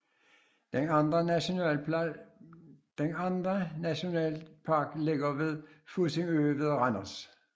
Den anden Naturnationalpark ligger ved Fussingø ved Randers